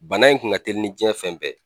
Bana in kun ka teli ni jiyɛn fɛn bɛɛ ye.